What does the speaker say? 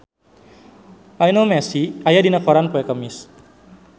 Lionel Messi aya dina koran poe Kemis